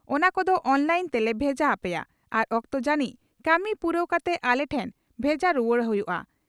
ᱚᱱᱟ ᱠᱚᱫᱚ ᱚᱱᱞᱟᱭᱤᱱ ᱛᱮᱞᱮ ᱵᱷᱮᱡᱟ ᱦᱟᱯᱮᱭᱟ ᱟᱨ ᱚᱠᱛᱚ ᱡᱟᱹᱱᱤᱡ ᱠᱟᱹᱢᱤ ᱯᱩᱨᱟᱹᱣ ᱠᱟᱛᱮ ᱟᱞᱮ ᱴᱷᱮᱱ ᱵᱷᱮᱡᱟ ᱨᱩᱣᱟᱹᱲ ᱦᱩᱭᱩᱜᱼᱟ ᱾